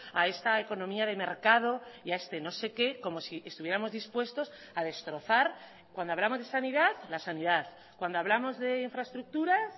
a esta economía de mercado y a este no sé qué como si estuviéramos dispuestos a destrozar cuando hablamos de sanidad la sanidad cuando hablamos de infraestructuras